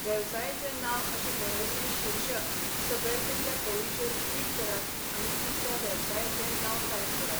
वेवसायाचें नांव अशें बरयल्लें शीर्षक सकयल दिल्ले ओळीचेर क्लिक करात आनी तुमच्या वेवसायाचे नांव टाइप करात.